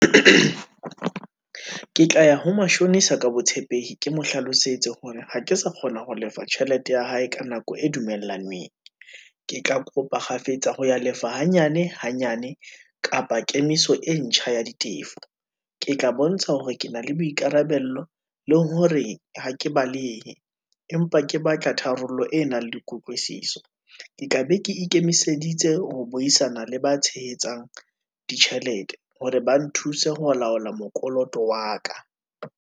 Ke tla ya ho mashonisa ka botshepehi, ke mo hlalosetse hore ha ke sa kgona ho lefa tjhelete ya hae ka nako e dumellaneng, ke tla kopa kgafetsa ho ya lefa hanyane, hanyane, kapa kemiso e ntjha ya ditefo. Ke tla bontsha hore ke na le boikarabello, le hore ha ke balehe, empa ke batla tharollo e nang le kutlwisiso, ke tla be ke ikemiseditse ho buisana le ba tshehetsang ditjhelete, hore ba nthuse ho laola mokoloto wa ka.